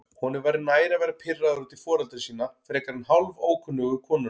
Honum væri nær að vera pirraður út í foreldra sína frekar en hálfókunnuga konuna.